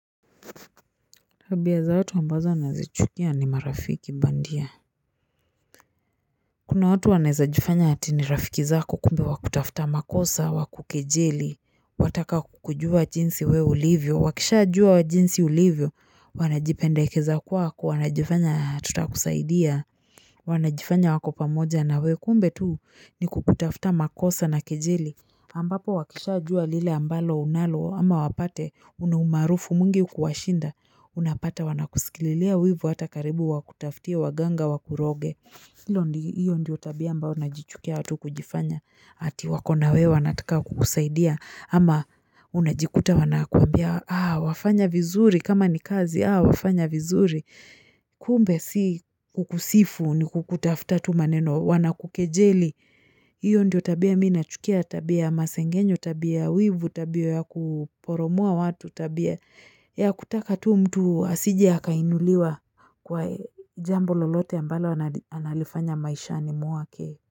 Tabia za watu ambazo nazichukia ni marafiki bandia Kuna watu wanaeza jifanya hati ni rafiki zako kumbe wakutafta makosa wakukejeli Wataka kukujua jinsi wewe ulivyo wakisha jua jinsi ulivyo wanajipendekeza kwako wanajifanya tuta kusaidia Wanajifanya wako pamoja na wewe kumbe tuu ni kukutafta makosa na kejeli ambapo wakishajua lile ambalo unalo ama wapate unaumaarufu mwingi kuwashinda. Unapata wanakusikililia wivu hata karibu wakutaftie waganga wakuroge. Hilo hiyo ndiyo tabia ambao na jichukia watu kujifanya. Ati wakona wewe wanataka kukusaidia ama unajikuta wanakuambia wafanya vizuri kama ni kazi wafanya vizuri. Kumbe si kukusifu ni kukutafta tu maneno wanakukejeli. Hiyo ndio tabia mina chukia tabia masengenyo tabia wivu tabia ya kuporomoa watu tabia ya kutaka tu mtu asije akainuliwa kwa jambo lolote ambalo analifanya maisha ni muake.